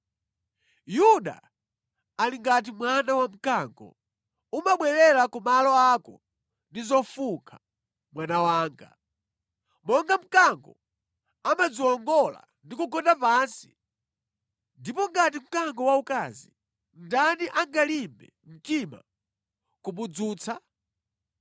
Yuda ali ngati mwana wa mkango; umabwerera ku malo ako ndi zofunkha, mwana wanga. Monga mkango, amadziwongola ndi kugona pansi, ndipo ngati mkango waukazi, ndani angalimbe mtima kumudzutsa?